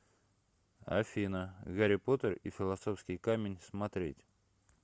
афина гарри потер и филосовский камень смотреть